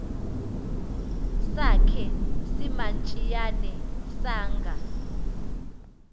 sakhe simantshiyane sanga